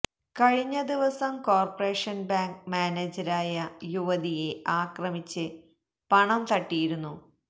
കഴിഞ്ഞ ദിവസം corporation bank മാനേജരായ യുവതിയെ ആക്രമിച്ച് പണം തട്ടിയിരുന്നു